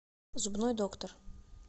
зубной доктор